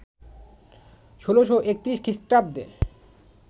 ১৬৩১ খ্রিস্টাব্দে